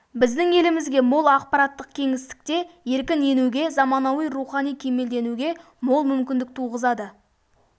біздің елімізге мол ақпараттық кеңістікте еркін енуге заманауи рухани кемелденуге мол мүкіндік туғызады